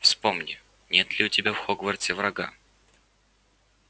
вспомни нет ли у тебя в хогвартсе врага